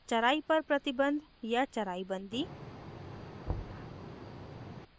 2 charai पर प्रतिबंध या charai bandi